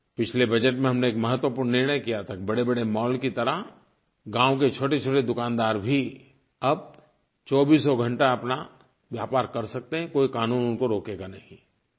पिछले बजट में हमने एक महत्वपूर्ण निर्णय किया था कि बड़ेबड़े मॉल की तरह गाँव के छोटेछोटे दुकानदार भी अब चौबीसों घंटा अपना व्यापार कर सकते हैं कोई क़ानून उनको रोकेगा नहीं